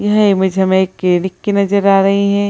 यह इमेज हमे एक क्लिनिक की नजर आ रही है।